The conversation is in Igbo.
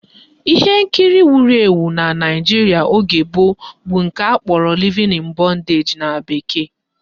Ihe nkiri egwuregwu wuru ewu na Naijiria oge gboo bụ nke akpọrọ Living In Bondage na bekee